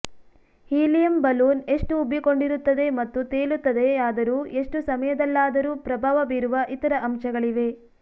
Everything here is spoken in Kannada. ಹೀಲಿಯಂ ಬಲೂನ್ ಎಷ್ಟು ಉಬ್ಬಿಕೊಂಡಿರುತ್ತದೆ ಮತ್ತು ತೇಲುತ್ತದೆಯಾದರೂ ಎಷ್ಟು ಸಮಯದಲ್ಲಾದರೂ ಪ್ರಭಾವ ಬೀರುವ ಇತರ ಅಂಶಗಳಿವೆ